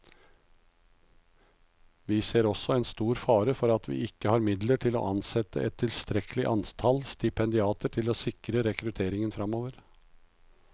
Vi ser også en stor fare for at vi ikke har midler til å ansette et tilstrekkelig antall stipendiater til å sikre rekrutteringen fremover.